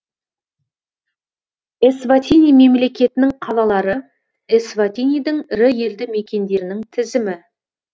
эсватини мемлекетінің қалалары эсватинидің ірі елді мекендерінің тізімі